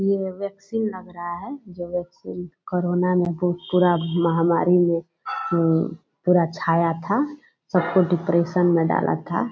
ये वैक्सीन लग रहा है जो वैक्सीन कोरोना मे भू पूरा महामारी में उम पूरा छाया था सबको डिप्रेशन में डाला था।